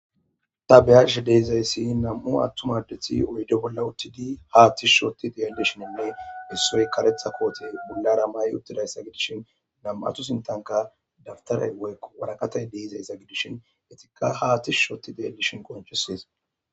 Tabeyash deezayssi nam7u attum addethi oyde bolla uttidi haattishushooti dellishininne issoy karetha kooti bulla rammay uttidayssa gidishin nam7atu sintanka daftaray woykko waraqatay deizayssa gidishin itikka haatishushooti deellishin qonchisees.